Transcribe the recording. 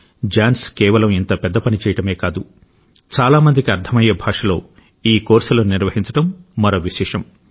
Johne's కేవలం ఇంత పెద్ద పని చేయడమే కాదు చాలా మందికి అర్థమయ్యే భాషలో ఈ కోర్సులను నిర్వహించడం మరో విశేషం